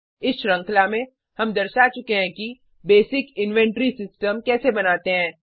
इस श्रृंखला में हम दर्शा चुके हैं कि बेसिक इन्वेंट्री सिस्टम कैसे बनाते हैं